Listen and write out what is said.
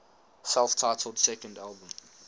self titled second album